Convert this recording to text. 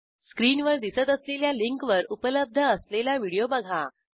स्क्रीनवर दिसत असलेल्या लिंकवर उपलब्ध असलेला व्हिडिओ बघा